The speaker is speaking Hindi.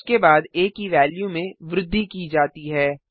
उसके बाद आ की वेल्यू में वृद्धि की जाती है